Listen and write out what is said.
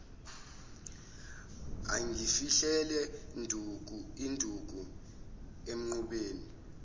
ungifihlele induku emqubeni